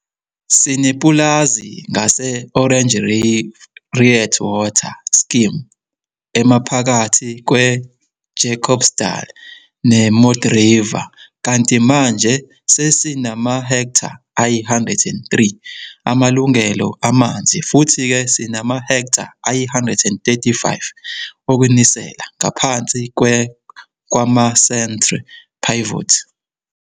Sinepulazi ngase-Oranje Riet water scheme emaphakathi kweJacobsdal neModderriver, kanti manje sesinamahektha ayi-103 amalungelo amanzi, futhi-ke sinamahektha ayi-135 okunisela ngaphansi kwamacentre pivots.